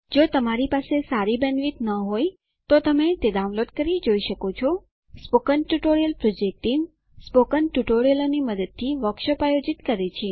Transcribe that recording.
જો તમારી પાસે સારી બેન્ડવિડ્થ ન હોય તો તમે ડાઉનલોડ કરી તે જોઈ શકો છો spoken tutorial project team spoken ટ્યુટોરીયલોની મદદથી વર્કશોપ આયોજિત કરે છે